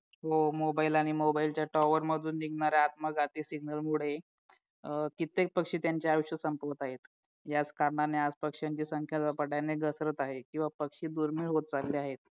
हो mobile आणि mobile च्या टावर मधून निघणाऱ्या आत्मघाती सिग्नलमुळे अं कित्येक पक्षी त्यांचे आयुष्य संपवत आहेत याच कारणाने आज पक्षांची संख्या झपाट्याने घसरत आहे किंवा पक्षी दुर्मिळ होत चालले आहे